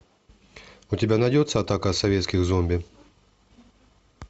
у тебя найдется атака советских зомби